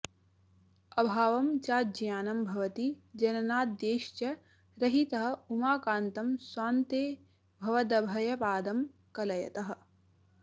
अभावं चाज्ञानं भवति जननाद्यैश्च रहितः उमाकान्त स्वान्ते भवदभयपादं कलयतः